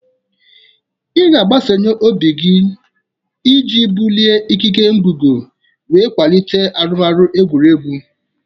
Ị ga-agbasawanye obi gị iji bulie ikike ngụgụ wee kwalite arụmọrụ egwuregwu.